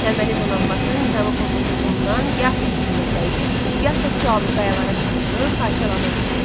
Əhəməni donanması nizamı pozulduğundan gah bir-birinə dəyir, gah da sualtı qayalara çırpılıb parçalanırdı.